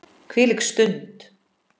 Þvílík stund!